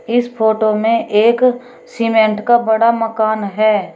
इस फोटो में एक सीमेंट का बड़ा मकान है।